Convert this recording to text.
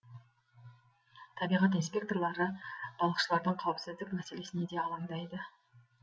табиғат инспекторлары балықшылардың қауіпсіздік мәселесіне де алаңдайды